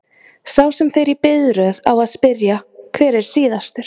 Sá sem fer í biðröð á að spyrja: hver er síðastur?